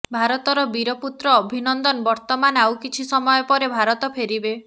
ଭାରତର ବୀର ପୁତ୍ର ଅଭିନନ୍ଦନ ବର୍ଦ୍ଧମାନ ଆଉ କିଛି ସମୟ ପରେ ଭାରତ ଫେରିବେ